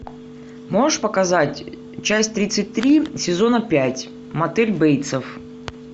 можешь показать часть тридцать три сезона пять мотель бейтсов